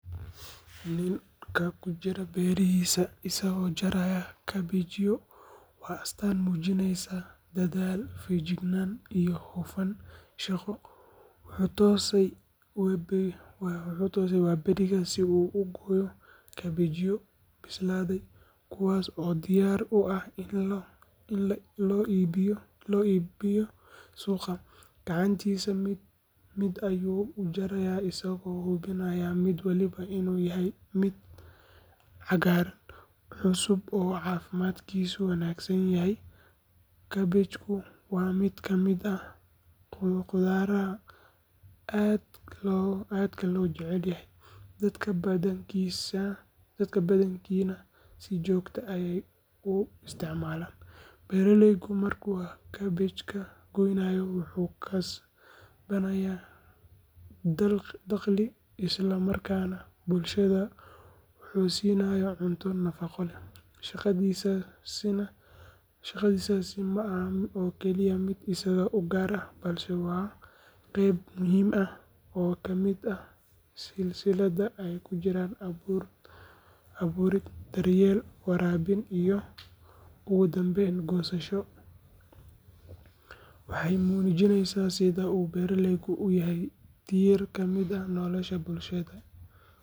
Ninka ku jira beerihiisa isagoo jaraya kabeebyo waa astaan muujinaysa dadaal, feejignaan iyo hufnaan shaqo. Wuxuu toosay waaberigii si uu u gooyo kabeebyo bislaaday, kuwaas oo diyaar u ah in loo iibgeeyo suuqa. Gacantiisa mid mid ayuu u jarayaa isagoo hubinaya mid walba inuu yahay mid cagaaran, cusub oo caafimaadkiisu wanaagsan yahay. Kabeebku waa mid ka mid ah qudaaraha aadka loo jecel yahay, dadka badankiina si joogto ah ayay u isticmaalaan. Beeraleygu markuu kabeebka goynayo wuxuu kasbanayaa dakhli, isla markaana bulshada wuxuu siinayaa cunto nafaqo leh. Shaqadiisaasi ma aha oo keliya mid isaga u gaar ah, balse waa qeyb muhiim ah oo ka mid ah silsilad ay ku jiraan abuurid, daryeel, waraabin iyo ugu dambayn goosasho. Waxay muujinaysaa sida uu beeraleygu u yahay tiir ka mid ah nolosha bulshada.